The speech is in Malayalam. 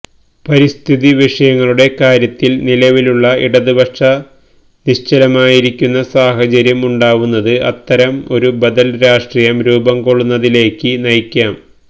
പരിസ്ഥിതി വിഷയങ്ങളുടെ കാര്യത്തില് നിലവിലുള്ള ഇടതുപക്ഷ നിശ്ചലമായിരിക്കുന്ന സാഹചര്യം ഉണ്ടാവുന്നത് അത്തരം ഒരു ബദല് രാഷ്ട്രീയം രൂപം കൊള്ളുന്നതിലേക്ക് നയിക്കാം